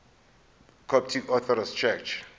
coptic orthodox church